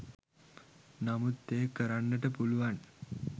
නමුත් එය කරන්නට පුළුවන්